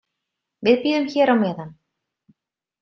Við bíðum hér á meðan.